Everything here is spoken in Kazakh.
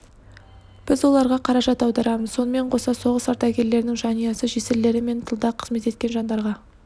біз оларға қаражат аударамыз сонымен қоса соғыс ардагерлерінің жанұясы жесірлері мен тылда қызмет еткен жандарға